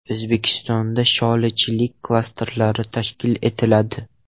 O‘zbekistonda sholichilik klasterlari tashkil etiladi.